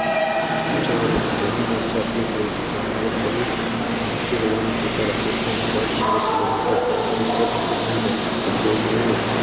જોવાનું હતું ભૂમિ મોરચો ફોજી જમાવટ બહુ પાંચી હોવાનું જોતા રાજસ્થાન હાજાર ચોરસ કિલોમીટર વિશ્વ પાકિસ્તાન જેનું મેળવે.